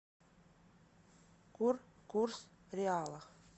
курс реала